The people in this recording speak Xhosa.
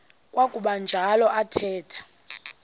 kwakuba njalo athetha